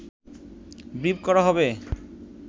brief করা হবে